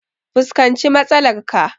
Fuskanci matsalar ka!